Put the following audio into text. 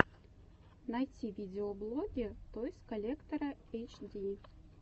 найти видеоблоги тойс коллектора эйч ди